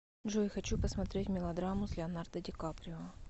джой хочу посмотреть мелодраму с леонардо ди каприо